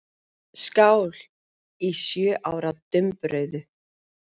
Skál í sjö ára dumbrauðu.